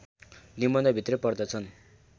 निबन्ध भित्रै पर्दछन्